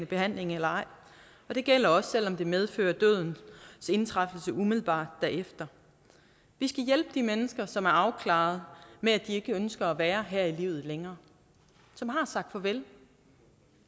behandling eller ej og det gælder også selv om det medfører dødens indtræden umiddelbart derefter vi skal hjælpe de mennesker som er afklaret med at de ikke ønsker at være her i livet længere som har sagt farvel